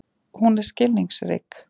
Hún er skilningsrík.